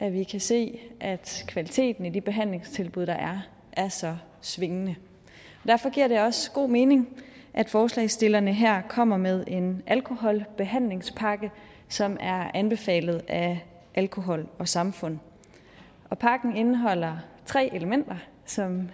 at vi kan se at kvaliteten i de behandlingstilbud der er er så svingende derfor giver det også god mening at forslagsstillerne her kommer med en alkoholbehandlingspakke som er anbefalet af alkohol samfund pakken indeholder tre elementer som